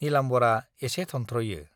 नीलाम्बरआ एसे थनथ्र'यो।